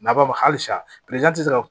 Na b'a fɔ halisa tɛ se ka